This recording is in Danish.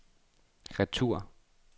retur